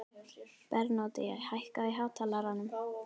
Bernódía, hækkaðu í hátalaranum.